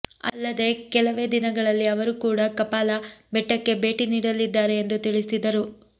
ಅಲ್ಲದೇ ಕೆಲವೇ ದಿನಗಳಲ್ಲಿ ಅವರು ಕೂಡಾ ಕಪಾಲ ಬೆಟ್ಟಕ್ಕೆ ಭೇಟಿ ನೀಡಲಿದ್ದಾರೆ ಎಂದು ತಿಳಿಸಿದರು